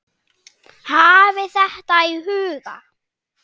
Hafið þetta í huga.